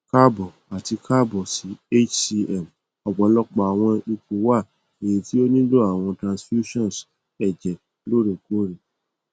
kaabo ati kaabo si hcm ọpọlọpọ awọn ipo wa eyiti o nilo awọn transfusions ẹjẹ loorekoore